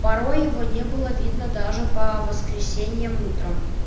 порой его не было видно даже по воскресеньям утром